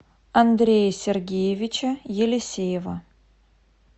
андрея сергеевича елисеева